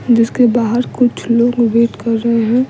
जिसके बाहर कुछ लोग वेट कर रहे है।